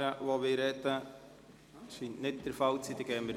– Das scheint nicht der Fall zu sein.